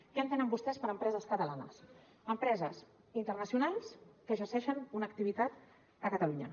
què entenen vostès per empreses catalanes empreses internacionals que exerceixen una activitat a catalunya